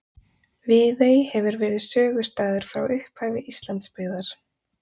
Viðey hefur verið sögustaður frá upphafi Íslandsbyggðar.